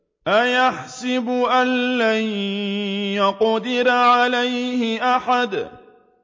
أَيَحْسَبُ أَن لَّن يَقْدِرَ عَلَيْهِ أَحَدٌ